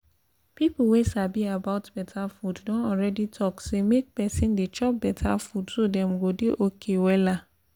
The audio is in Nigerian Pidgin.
people wey sabi about better food don already talk say make person dey chop better food so dem go dey okay wella